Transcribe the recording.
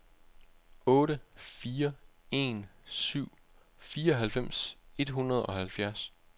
otte fire en syv fireoghalvfems et hundrede og halvfjerds